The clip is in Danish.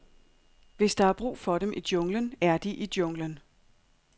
Hvis der er brug for dem i junglen, er de i junglen.